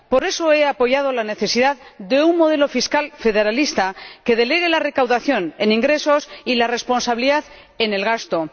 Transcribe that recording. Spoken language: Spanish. Por eso he apoyado la necesidad de un modelo fiscal federalista que delegue la recaudación en ingresos y la responsabilidad en el gasto.